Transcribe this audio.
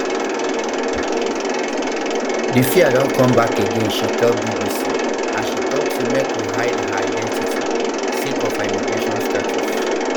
di fear don come back again she tell bbc as she tok say make we um hide her identity sake um of her immigration status